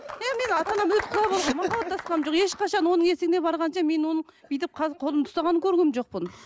енді менің ата анам махаббатасқаным жоқ ешқашан оның есігіне барғанша мен оның бүйтіп қолымды ұстағанын көрген жоқпын